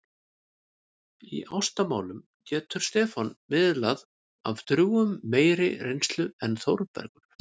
Í ástamálum getur Stefán miðlað af drjúgum meiri reynslu en Þórbergur.